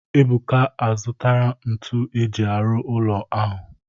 Ebuka azụtara ntu eji arụ ụlọ ahụ